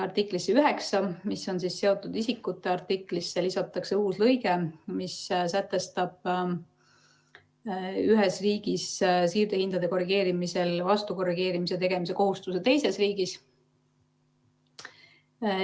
Artiklisse 9, seotud isikute artiklisse, lisatakse uus lõige, mis sätestab ühes riigis siirdehindade korrigeerimisel vastukorrigeerimise tegemise kohustuse teises riigis.